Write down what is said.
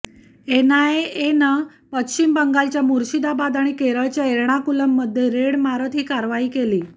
एनआयएनं पश्चिम बंगालच्या मुर्शिदाबाद आणि केरळच्या एर्णाकुलममध्ये रेड मारत ही कारवाई केली